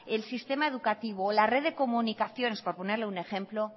el sistema educativo la red de comunicaciones por ponerle un ejemplo